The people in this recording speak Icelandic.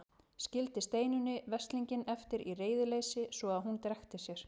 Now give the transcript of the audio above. Skildi Steinunni veslinginn eftir í reiðileysi svo að hún drekkti sér.